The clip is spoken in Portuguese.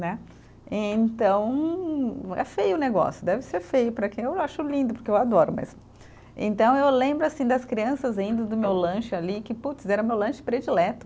Né então, é feio o negócio, deve ser feio para quem, eu acho lindo porque eu adoro mesmo, então eu lembro assim das crianças rindo do meu lanche ali que puts, era o meu lanche predileto